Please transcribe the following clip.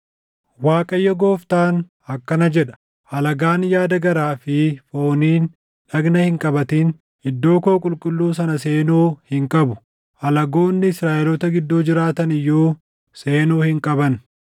Waaqayyo Gooftaan akkana jedha: Alagaan yaada garaa fi fooniin dhagna hin qabatin iddoo koo qulqulluu sana seenuu hin qabu; alagoonni Israaʼeloota gidduu jiraatan iyyuu seenuu hin qaban.